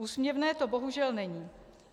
Úsměvné to bohužel není.